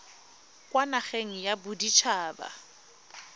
kwa nageng ya bodit haba